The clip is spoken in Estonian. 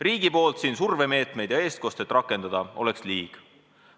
Riigi poolt siin survemeetmeid ja eestkostet rakendada oleks liig.